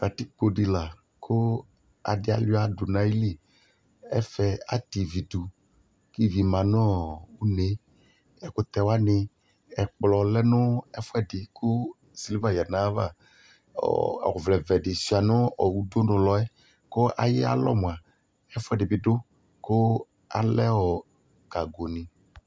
Katikpo dɩ la kʋ adɩ alʋɩa dʋ nʋ ayili Ɛfɛ atɛ ivi dʋ kʋ ivi ma nʋ une yɛ Ɛkʋtɛ wanɩ, ɛkplɔ lɛ nʋ ɛfʋɛdɩ kʋ sɩlva yǝdu nʋ ayava Ɔ ɔvlɛvɛ dɩ sʋɩa nʋ udunulɔ yɛ kʋ ayalɔ mʋa, ɛfʋɛdɩ bɩ dʋ kʋ alɛ ɔ gagonɩ